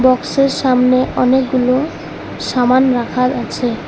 বক্সের সামনে অনেকগুলো সামান রাখা আছে।